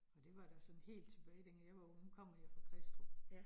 Og det var da sådan helt tilbage dengang jeg var ung, nu kommer jeg fra Kristrup